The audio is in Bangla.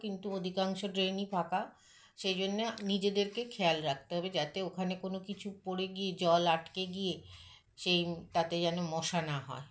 কিন্তু অধিকাংশ drain - ই ফাঁকা সেইজন্য নিজেদেরকে খেয়াল রাখতে হবে যাতে ওখানে কোনোকিছু পরে গিয়ে জল আটকে গিয়ে সেই ম তাতে যেনো মশা না হয়